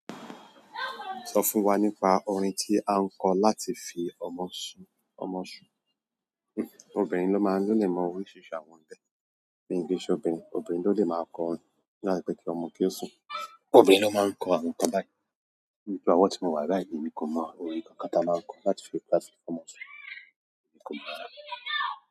Sọ fún wa nípa orin tí a ń kọ láti fi ọmọ si ọmọ ṣùn. Obìnrin ló máa ń lè mọ oríṣiríṣi àwọn ńbẹ. Mi kí n ṣe obìnrin, obìnrin ló lè máa kọ orin láti pè kí ọmọ kí ó sùn. Obìnrin ló máa ń kọ àwọn nǹkan báyi, mean pé ọwọ tí mo wà báyi èmi kò mọ orin kankan tán máa ń kọ láti fi jẹ kí ọmọ sùn, kò mọ.